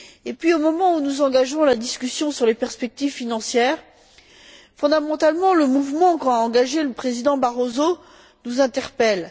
Puis, au moment où nous engageons la discussion sur les perspectives financières, fondamentalement, le mouvement engagé par le président Barroso nous interpelle.